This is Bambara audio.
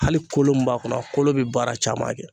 Hali kolo min b'a kɔnɔ , a kolo bɛ baara caman kɛ.